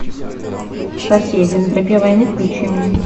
соседи на тропе войны включи мне